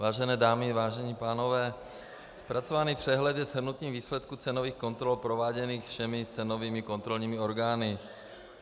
Vážené dámy, vážení pánové, zpracovaný přehled je shrnutím výsledků cenových kontrol prováděných všemi cenovými kontrolními orgány.